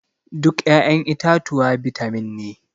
Duk ya'yan itatuwa bitamin ne.